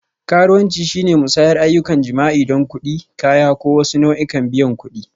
Karuwanci shine musayar ayyukan jima'i don kuɗi, kaya, ko wasu nau'ikan biyan kuɗi.